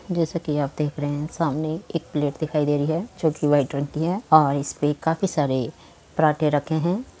जैसा कि आप देख रहे हैं सामने एक प्लेट दिखाई दे रही है जो कि वाइट रंग की है और इस पर काफी सारे पराठे रखे हैं।